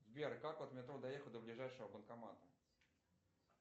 сбер как от метро доехать до ближайшего банкомата